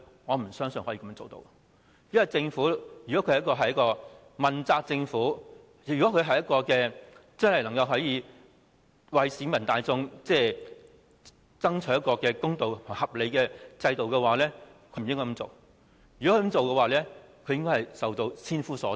我不相信政府會這樣做，如果這是一個問責政府，能為市民大眾爭取一個公道合理的制度，便不應該這樣做，否則它應受到千夫所指。